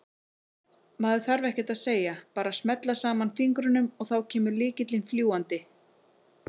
Maður þarf ekkert að segja, bara smella saman fingrunum og þá kemur lykillinn fljúgandi!